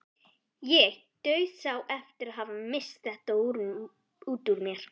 Ég dauðsá eftir að hafa misst þetta út úr mér.